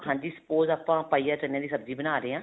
ਹਾਂਜੀ spouse ਆਪਾਂ ਪਾਈਆ ਚਨੇ ਦੀ ਸਬਜ਼ੀ ਬਣਾ ਰਹੇ ਹਾਂ